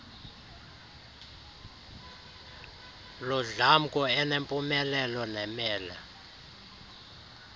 ludlamko enempumelelo nemele